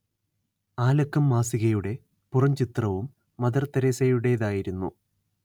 ആ ലക്കം മാസികയുടെ പുറംചിത്രവും മദർതെരേസയുടേതായിരുന്നു